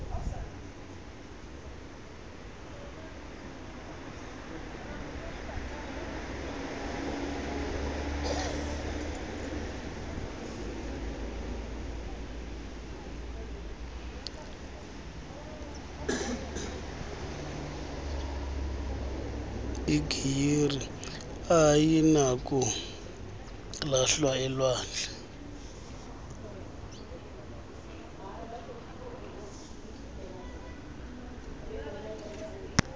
igiyeri ayinakulahlwa elwandle